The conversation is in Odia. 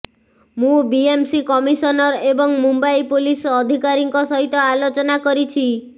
ମୁଁ ବିଏମ୍ସି କମିସନର ଏବଂ ମୁମ୍ବାଇ ପୁଲିସ ଅଧିକାରୀଙ୍କ ସହିତ ଆଲୋଚନା କରିଛି